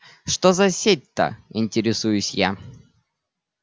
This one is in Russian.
что за сеть-то интересуюсь я